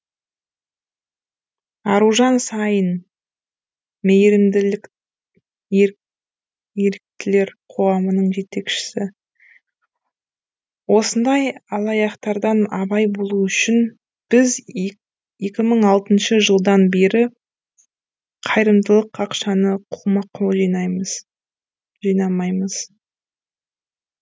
аружан саин мейірімділік еріктілер қоғамының жетекшісі осындай алаяқтардан абай болу үшін біз екі мың алтыншы жылдан бері қайырымдылық ақшаны қолма қол жинамаймыз